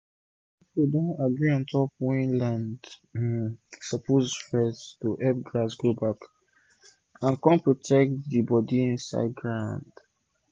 old people dem agree ontop wen land um suppose rest to hep grass grow back and con protect de bodi insid ground